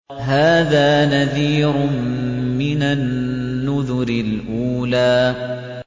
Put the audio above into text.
هَٰذَا نَذِيرٌ مِّنَ النُّذُرِ الْأُولَىٰ